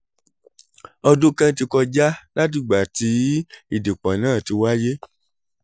ọdún kan ti kọjá látìgbà tí ìdìpọ̀ náà ti wáyé